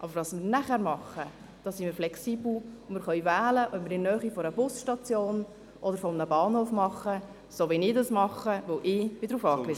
Aber was wir nachher tun, da sind wir flexibel, und wir können wählen, ob wir das in der Nähe einer Busstation oder eines Bahnhofs tun, so wie ich das tue, weil ich darauf angewiesen bin.